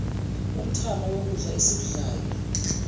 umthamo wokudla esikudlayo